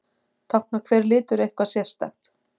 Táknar hver litur eitthvað sérstakt?